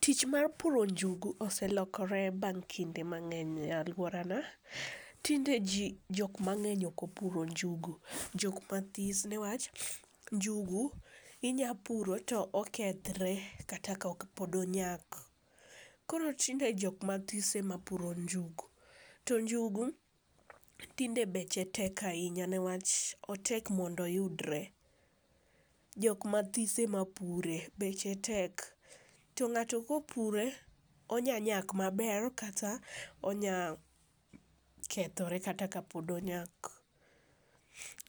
Tich mar puro njugu oselokore bang' kinde mang'eny e aluorana. Tinde ji jok mang'eny ok opuro njugu, jok mathis ne wach njugu inyalo pur to okethre kata ka pod onyak koro tinde jok mathis ema puro njugu. To njugu tinde beche tek ahinya newach otek mondo oyudre, jok mathis ema pure, beche tek. To ng'ato kopure onyalo nyak maber kata onyalo kethore kata kapok onyak.